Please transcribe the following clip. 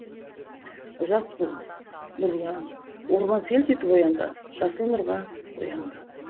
жас буын нұрлан орман селт етіп оянды жасыл нұрға боянды